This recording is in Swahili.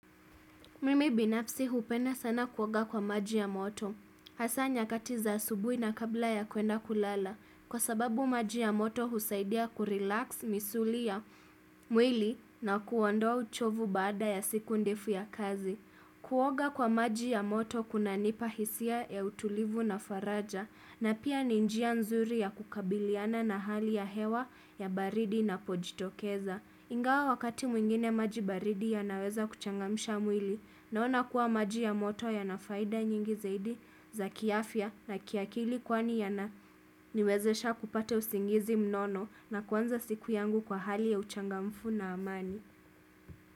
Mimi binafsi hupenda sana kuoga kwa maji ya moto. Hasaa nyakati za asubui na kabla ya kwenda kulala. Kwa sababu maji ya moto husaidia kurelax misuli ya mwili na kuondoa uchovu bada ya siku ndefu ya kazi. Kuoga kwa maji ya moto kunanipa hisia ya utulivu na faraja. Na pia ni njia nzuri ya kukabiliana na hali ya hewa ya baridi inapojitokeza. Ingawa wakati mwingine maji baridi yanaweza kuchangamsha mwili. Naona kuwa maji ya moto yana faida nyingi zaidi za kiafya na kiakili kwani yananiwezesha kupata usingizi mnono na kuanza siku yangu kwa hali ya uchangamfu na amani.